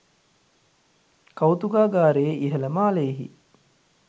කෞතුකාගාරයේ ඉහල මාලයෙහි